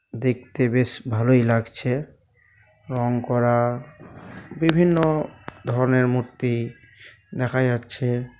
দেখতে বেশ ভালই লাগছে রং করা বিভিন্ন ধরনের মূর্তি দেখা যাচ্ছে।